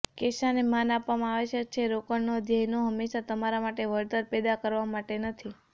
કેશને માન આપવામાં આવશ્યક છે રોકડનો ધ્યેય હંમેશા તમારા માટે વળતર પેદા કરવા માટે નથી